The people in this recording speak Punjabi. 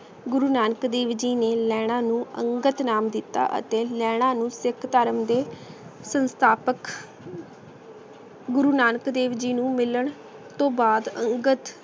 ਗੁਰੂ ਨਾਨਕ ਦੀ ਵਿਧੀ ਨੇ ਨੈਨਾ ਨੂ ਅਨ੍ਗਤ ਨਾਮ ਦਿਤਾ ਅਤੀ ਨੈਨਾ ਨੂ ਸਿਖ ਧਰਮ ਤੇ ਸੰਸਥਾਪਕ ਗੁਰੂ ਨਾਨਕ ਦੇਵ ਜੀ ਨੂ ਮਿਲਣ ਤੋਂ ਬਾਅਦ ਅਨ੍ਗਤ